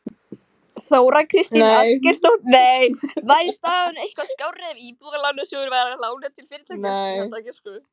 Þóra Kristín Ásgeirsdóttir: Væri staðan eitthvað skárri ef Íbúðalánasjóður væri að lána til fyrirtækja?